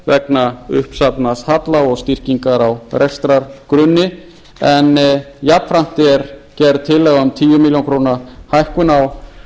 vegna uppsafnaðs halla og styrkingar á rekstrargrunni en jafnframt er gerð tillaga um tíu milljónir